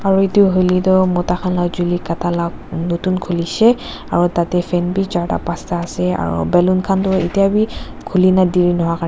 aru edu hoilae tu mota khan la chuli kata la nutun khulishey aro tatae fan bi charta pasta ase aro ballon khan toh etya bi khuli na dari noha karni--